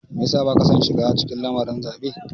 Me ya sa baka son shiga cikin lamarin zaɓe?